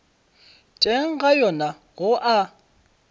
teng ga yona go a